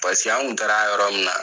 Paseke an kun taara a yɔrɔ min na